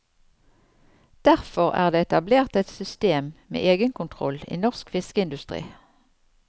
Derfor er det etablert et system med egenkontroll i norsk fiskeindustri.